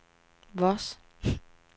Voss